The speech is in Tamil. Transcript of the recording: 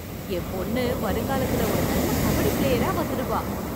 என் பொண்ணு வருங்காலத்தில் ஒரு நல்ல கபடி பிளேயரா வந்துடுவா.